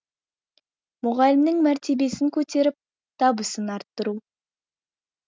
мұғалімнің мәртебесін көтеріп табысын арттыру